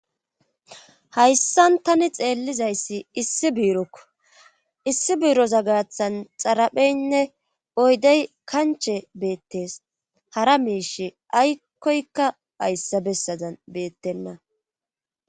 hayssan tani xeellizayssi issi biirokko issi buiroza gaathan xarapheynne oydey kanche beettees hara miish aykkoykka hayssa bessadan beettenna